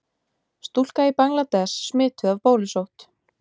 Stúlka í Bangladess smituð af bólusótt.